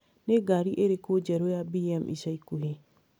Nĩ ngari ĩrĩkũ njerũ ya B.M. ya ica ikuhĩ?